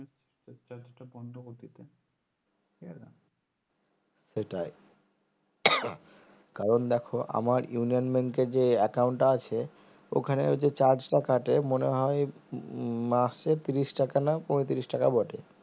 সেটাই কারণ দেখো আমার ইউনিয়ন bank এ যে account টা আছে ওখানে যে charge কাটে মনে হয় মাসে ত্রিশ টাকার না পঁয়ত্রিশ টাকা বটে